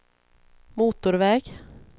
motorväg